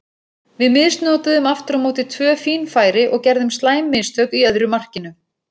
Við misnotuðum aftur á móti tvö fín færi og gerðum slæm mistök í öðru markinu.